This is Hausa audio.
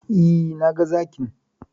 E, naga Zakin.